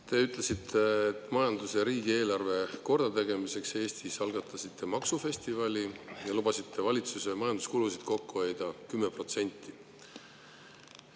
Te ütlesite, et majanduse ja riigieelarve kordategemiseks Eestis algatasite maksufestivali ja lubasite valitsuse majanduskulusid kokku hoida 10%.